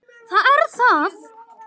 Það er það!